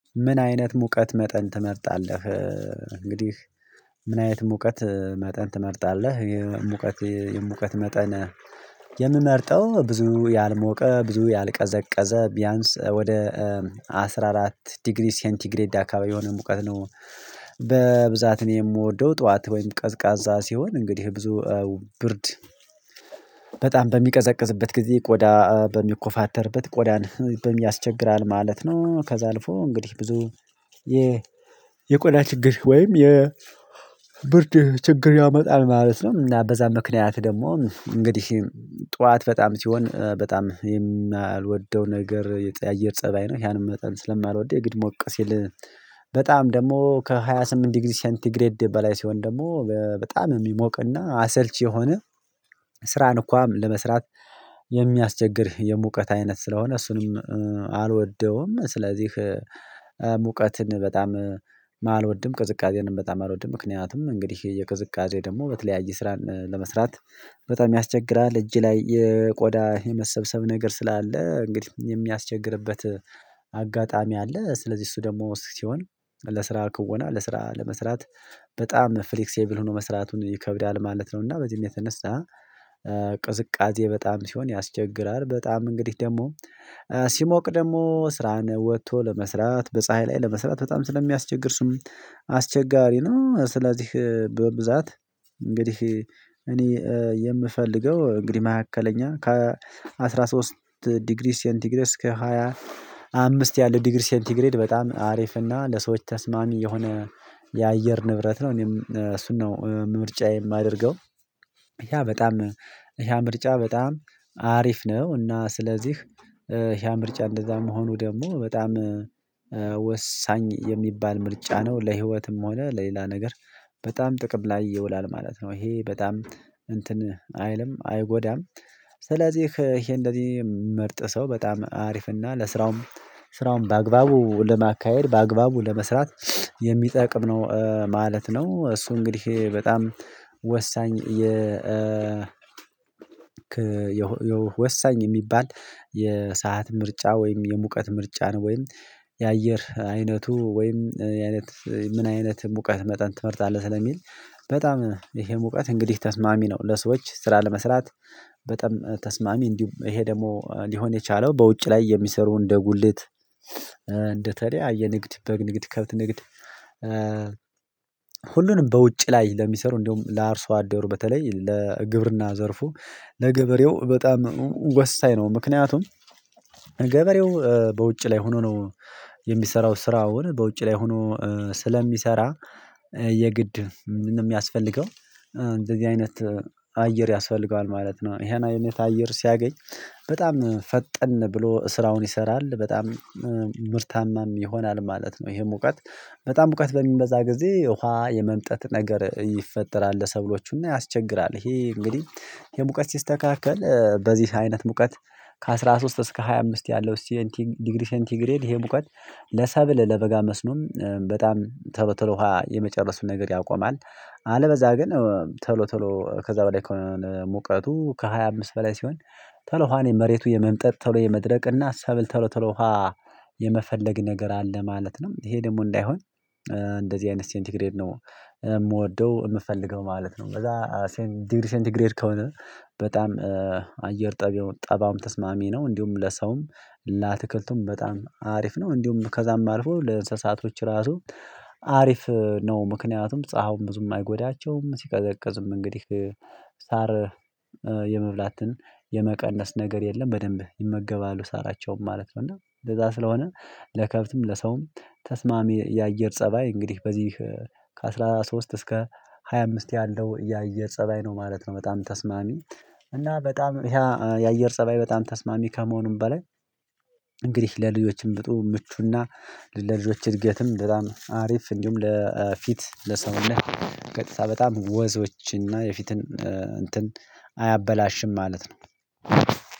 ምን አይነት ሙቀት መጠን ትመርጣለህ? እንግዲህ ምን አይነት ሙቀት መጠን ትመርጣለህ? የሙቀት የሙቀት መጠን የምመርጠው ብዙ ያልሞቀ ብዙ ያልቀዘቀዘ ቢያንስ ወደ አስራ አራት ዲግሪ ሴንቲግሬድ አካባቢ የሆነ ሙቀት ነው። በብዛት እኔ የምወደው ጠዋት ወይም ቀዝቃዛ ሲሆን እንግዲህ ብዙ ብርድ በጣም በሚቀዘቅዝበት ጊዜ ቆዳ በሚኮፋተርበት ቆዳን በሚያስቸግራል ማለት ነው። ከዛ አልፎ እንግዲህ ብዙ የ የቆዳ ችግር ወይም የብርድ ችግር ያመጣል ማለት ነው። እና በዛ ምክንያት ደግሞ እንግዲህ ጠዋት በጣም ሲሆን በጣም የማልወደው ነገር የጠ የአየር ፀባይ ነው። ያን መጠን ስለማልወደው የግድ ሞቅ ሲል በጣም ደግሞ ከሃያ ስምንት ዲግሪ ሴንቲግሬድ በላይ ሲሆን ደግሞ በጣም የሚሞቅና አሰልቺ የሆነ ስራን እኳ ለመስራት የሚያስቸግር የሙቀት አይነት ስለሆነ እሱንም አልወደውም። ስለዚህ ሙቀትን በጣም አልወድም ቅዝቃዜንም በጣም አልወድም። ምክንያቱም እንግዲህ የቅዝቃዜ ደግሞ በተለያየ ስራን ለመስራት በጣም ያስቸግራል እጅ ላይ የቆዳ የመሰብሰብ ነገር ስላለ እንግዲህ የሚያስቸግርበት አጋጣሚ አለ ስለዚህ እሱ ደግሞ ሲሆን ለስራ ክወና ለስራ ለመስራት በጣም ፍሌክሴብል ሆኖ መስራቱን ይከብዳል ማለት ነው። እና በዚህም የተነሳ ቅዝቃዜ በጣም ሲሆን ያስቸግራል በጣም እንግዲህ ደግሞ ሲሞቅ ደግሞ ስራህን ወጥቶ ለመስራት በፀሀይ ላይ ለመስራት በጣም ስለሚያስቸግር እሱም አስቸጋሪ ነው። ስለዚህ በብዛት እንግዲህ እኔ የምፈልገው እንግዲህ መካከለኛ ከአስራ ሶስት ዲግሪ ሴንቲግሬድ እስከ ሃያ አምስት ያለው ዲግሪ ሴንቲግሬድ በጣም አሪፍ እና ለሰዎች ተስማሚ የሆነ የአየር ንብረት ነው። እኔም እሱን ነው ምርጫየ የማደርገው ያ በጣም ያ ምርጫ በጣም አሪፍ ነው እና ስለዚህ ያ ምርጫ እንደዛ መሆኑ ደግሞ በጣም ወሳኝ የሚባል ምርጫ ነው። ለህይወትም ሆነ ለሌላ ነገር በጣም ጥቅም ላይ ይውላል ማለት ነው። ይሄ በጣም እንትን አይልም አይጎዳም ስለዚህ ይሄ እንደዚህ ምርጥ ሰው በጣም አሪፍና ለስራውም ስራውም በአግባቡ ለማካሄድ በአግባቡ ለመስራት የሚጠቅም ነው ማለት ነው። እሱ እንግዲህ በጣም ወሳኝ ወሳኝ የሚባል የሰዓት ምርጫ ወይም የሙቀት ምርጫ ነው ወይም የአየር አይነቱ ወይም የአይነት ምን አይነት ሙቀት መጠን ትመርጣለህ? ስለሚል በጣም ይሄ ሙቀት እንግዲህ ተስማሚ ነው ለሰዎች ስራ ለመስራት በጣም ተስማሚ እንዲሁም ይሄ ደግሞ ሊሆን የቻለው በውጭ ላይ የሚሰሩ እንደ ጉልት እንደተለያየ ንግድ በግ ንግድ ከብት ንግድ ሁሉንም በውጭ ላይ ለሚሰሩ እንዲሁም ለአርሶ አደሩ በተለይ ለግብርና ዘርፉ ለገበሬው በጣም ወሳኝ ነው። ምክንያቱም ገበሬው በውጭ ላይ ሆኖ ነው የሚሰራው ስራውን በውጭ ላይ ሆኖ ስለሚሰራ የግድ የሚያስፈልገው እንደዚህ አይነት አየር ያስፈልገዋል ማለት ነው። ይሄን አይነት አየር ሲያገኝ በጣም ፈጠን ብሎ ስራውን ይሰራል በጣም ምርታማም ይሆናል ማለት ነው። ይሄም ሙቀት በጣም ሙቀት በሚበዛ ጊዜ ውሃ የመምጠት ነገር ይፈጠራል ለሰብሎቹና ያስቸግራል ይሄ እንግዲህ የሙቀት ሲስተካከል በዚህ አይነት ሙቀት ከአስራ ሶስት እስከ ሃያ አምስት ያለው ሴንቲ ዲግሪ ሴንቲግሬድ ይሄ ሙቀት ለሰብል ለበጋ መስኖም በጣም ቶሎ ቶሎ የመጨረሱን ነገር ያቆማል አለበዛ ግን ቶሎ ቶሎ ከዛ በላይ ከሆነ ሙቀቱ ከሃያ አምስት በላይ ሲሆን ቶሎ ውሃን መሬቱ የመምጠጥ ቶሎ የመድረቅ እና ሰብል ቶሎ ቶሎ ውሃ የመፈለግ ነገር አለ ማለት ነው። ይሄ ደግሞ እንዳይሆን እንደዚህ አይነት ሴንቲግሬድ ነው የምወደው የምፈልገው ማለት ነው። በዛ ሴንት ዲግሪ ሴንት ግሬድ ከሆነ በጣም አየር ጠባዩም ጠባያውም ተስማሚ ነው። እንዲሁም ለሰውም ለአትክልቱም በጣም አሪፍ ነው እንዲሁም ከዛም አልፎ ለእንስሳቶች ራሱ አሪፍ ነው። ምክንያቱም ፀሀይውም ብዙም አይጎዳቸውም ሲቀዘቅዙም እንግዲህ ሳር የመብላትን የመቀነስ ነገር የለም በደንብ ይመገባሉ ሳራቸውም ማለት ነው። እና ለዛ ስለሆነ ለከብትም ለሰውም ተስማሚ የአየር ፀባይ እንግዲህ በዚህ ከአስራ ሶስት እስከ ሃያ አምስት ያለው የአየር ፀባይ ነው ማለት ነው። በጣም ተስማሚ እና በጣም ይሄ የአየር ፀባይ በጣም ተስማሚ ከመሆኑም በላይ እንግዲህ ለልጆችም በጥሩ ምቹና ለልጆች እድገትም በጣም አሪፍ እንዲሁም ለፊት ለሰውነት ቀጥታ በጣም ወዞች እና የፊትን እንትን አያበላሽም ማለት ነው።